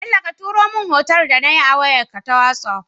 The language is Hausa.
Bello ka turo mun hoton da nayi a wayar ka ta whatsapp